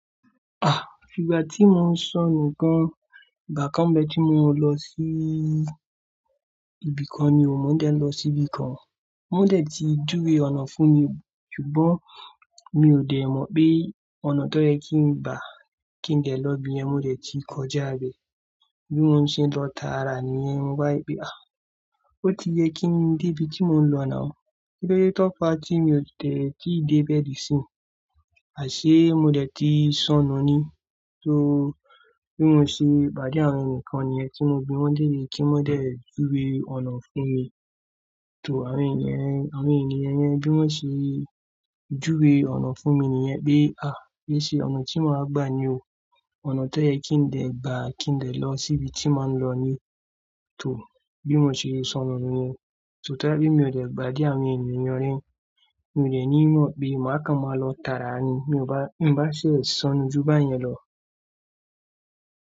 Ah! Ìgbà tí mo ń sọnù gan, ìgbà kan bẹ́ ti mo lọ sí ibìkan ni mo dé lọ síbí kan. Mo dé tí juwe ọnà fún mi, ṣùgbọ́n mi ò dé mọ̀ pe ọ̀nà tó yẹ kí n gba kí n dé lọ ibí yẹ́n mo dé tí kọjá bẹ. Bí mo ń ṣe lọ tààrà níyẹ́n mo ba ri pé. Ah! Ó ti yẹ kí n dé ibi tí mò ń lọ now. Kílódé tó fa tí mi ò tẹ̀ tí dé bẹ́ẹ̀ dí sín. Àṣé mo dé tí ń sọnù ni. Só bí mo ṣe bá di àwọn ènìyàn kan niyẹ́n tí mo bi wọ́n lere, kí wọ́n dé juwe ọnà fún mi. Tó àwọn ènìyàn, àwọn ènìyàn yẹn bí wọ́n ṣe juwe ọnà fún mi nìyẹn pé ah! Bẹ́ẹ̀ ṣe ọ̀nà tí màá gbà ni o. Ọ̀nà tó yẹ kí n dé gba kí n dé lọ síbi tí màá ń lọ ní. Tó bí mo ṣe sonùú nìyẹn. Tó tá bí mi ò dè pade àwọn ènìyàn yẹn ni, mi ò de ní mọ̀ bí màá kan máa lọ tààrà ni. Mi ò bá, n bá ṣe sọnù ju báyẹn lọ.